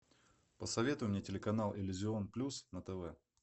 посоветуй мне телеканал иллюзион плюс на тв